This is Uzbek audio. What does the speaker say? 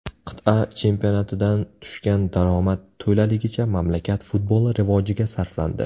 Qit’a chempionatidan tushgan daromad to‘laligicha mamlakat futboli rivojiga sarflandi.